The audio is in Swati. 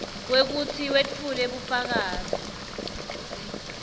kwekutsi wetfule bufakazi